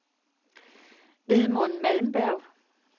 Edmund Malmberg